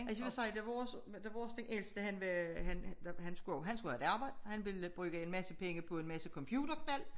Altså jeg vil sige da vores da vores den ældste han var han skulle have et arbejde han ville bruge en masse penge på en masse computerknald